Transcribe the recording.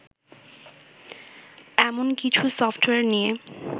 এমন কিছু সফটওয়্যার নিয়ে